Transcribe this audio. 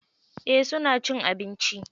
Eh suna cin abinci.